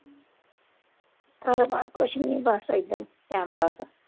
ਕਾਰੋਬਾਰ ਕੁੱਛ ਨਹੀਂ ਬੱਸ ਏਦਾਂ ਹੀ time pass